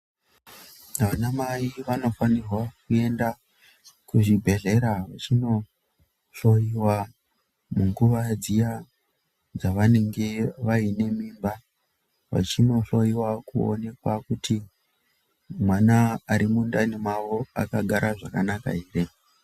Anamai vanofanirwa kuenda kuzvibhedhlera vachinohloyiwa munguwa dziya dzavanenge vane mimba vachinohloyiwa kuti mwana ari mundani akagara zvakana ere.